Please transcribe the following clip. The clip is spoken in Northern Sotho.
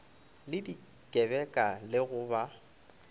le dikebeka le go ba